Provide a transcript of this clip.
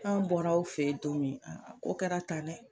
An bɔra aw fe yen don min a ko kɛra tan dɛ